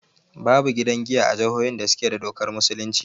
Babu gidan giya a jihohin da suke da dokar musulunci